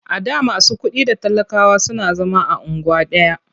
A da masu kuɗi da talakawa suna zama a unguwa ɗaya.